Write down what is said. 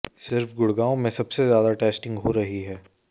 सिर्फ गुड़गांव में सबसे ज्यादा टेस्टिंग हो रही है